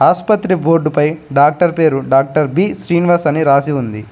అశపత్రి board పై doctor పేరు doctor B Srinivas అని రాసి ఉంది.